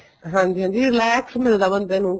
ਹਾਂਜੀ ਹਾਂਜੀ relax ਮਿਲਦਾ ਬੰਦੇ ਨੂੰ